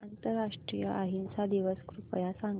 आंतरराष्ट्रीय अहिंसा दिवस कृपया सांगा